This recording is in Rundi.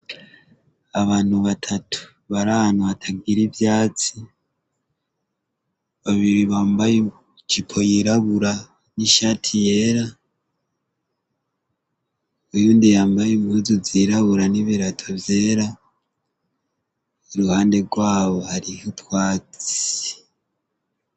Abantu batatu barana batagira ivyatsi babiri bambaye cipo yirabura n'ishati yera uyundi yambaye imwuzu zirabura n'ibirato vyera uruhande rwabo hariho utwati.